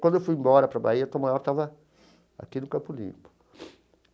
Quando eu fui embora para a Bahia, Tom Maior estava aqui no Campo Limpo.